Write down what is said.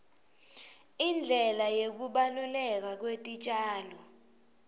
indlela yekubaluleka kwetitjalo